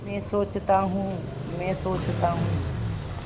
मैं सोचता हूँ मैं सोचता हूँ